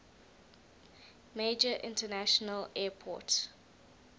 major international airport